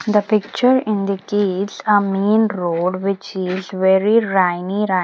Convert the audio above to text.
The picture indicates a main road which is very rainy ra --